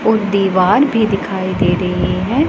और दीवार भी दिखाई दे रही है।